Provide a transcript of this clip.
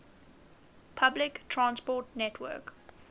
public transport network